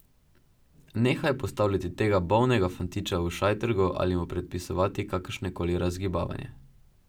Nehaj postavljati tega bolnega fantiča v šajtrgo ali mu predpisovati kakršno koli razgibavanje.